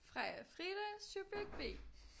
Freja-Frida subjekt B